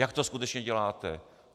Jak to skutečně děláte?